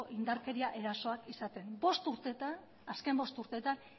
indarkeria erasoak izaten azken bost urteetan